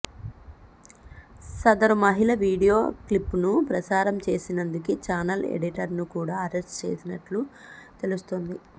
సదరు మహిళ వీడియో క్లిప్పును ప్రసారం చేసినందుకే ఛానల్ ఎడిటర్ను కూడా అరెస్ట్ చేసినట్లు తెలుస్తోంది